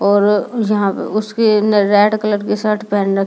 और यहाँ उसके रेड कलर के शर्ट पहन र--